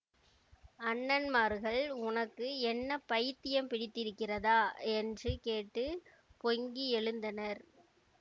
அண்ணன்மார்கள் உனக்கு என்ன பைத்தியம் பிடித்திருக்கிறதா என்று கேட்டு பொங்கி எழுந்தனர்